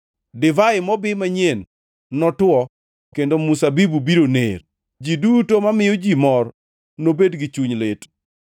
Divai mobi manyien notuwo kendo mzabibu biro ner, ji duto mamiyo ji mor nobed gi chuny lit.